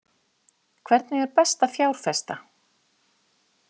Hvernig er best að fjárfesta?